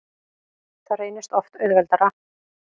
Það reynist oft auðveldara.